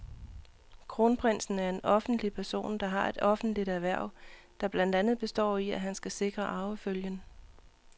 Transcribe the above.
Kronprinsen er en offentlig person, der har et offentligt hverv, der blandt andet består i, at han skal sikre arvefølgen.